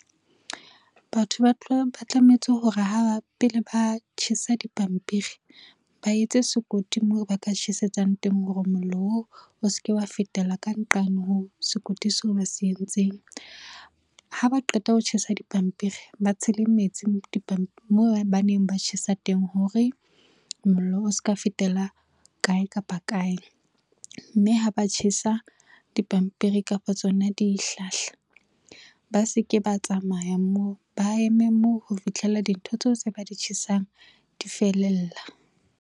Batho ba tlametse hore pele ba tjhesa dipampiri ba etse sekoti, moo ba ka tjhesetsang teng hore mollo oo seke wa fetela ka nqane ho sekoti se ba se entseng. Ha ba qeta ho tjhesa dipampiri ba tshele metsi moo ba neng ba tjhesa teng hore mollo o ska fetela kae kapa kae, mme ha ba tjhesa dipampiri kapa tsona dihlahla, ba seke ba tsamaya moo ba eme moo ho fihlella dintho tseo tse ba di tjhesang, di felella.